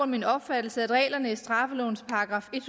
min opfattelse at reglerne i straffelovens §